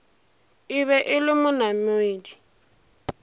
e be e le monamedi